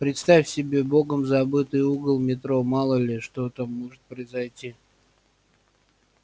представь себе богом забытый угол метро мало ли что там может произойти